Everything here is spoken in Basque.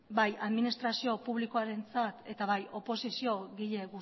bai administrazio publikoarentzat eta bai oposiziogile